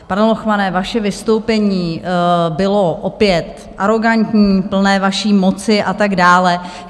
Pane Lochmane, vaše vystoupení bylo opět arogantní, plné vaší moci a tak dále.